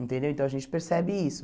Entendeu então a gente percebe isso.